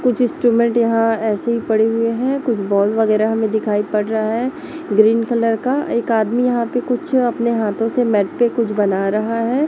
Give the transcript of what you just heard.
कुछ इंस्ट्रूमेंट यहां ऐसी ही पड़े हुए है कुछ बॉल वगैरह हमें दिखाई पड़ रहा है ग्रीन कलर का एक आदमी यहां पे कुछ अ अपने हाथों से मैट पे कुछ बना रहा है।